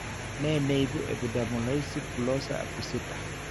Ne neibu Epidermolysis bullosa acquisita?